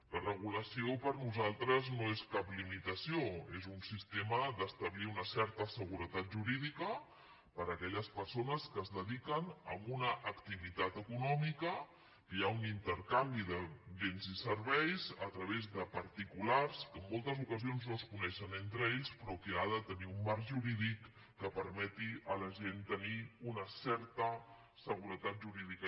la regulació per nosaltres no és cap limitació és un sistema d’establir una certa seguretat jurídica per a aquelles persones que es dediquen a una activitat econòmica que hi ha un intercanvi de béns i serveis a través de particulars que en moltes ocasions no es coneixen entre ells però que ha de tenir un marc jurídic que permeti a la gent tenir una certa seguretat jurídica